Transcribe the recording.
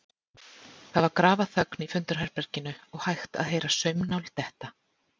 Það var grafarþögn í fundarherberginu og hægt að heyra saumnál detta.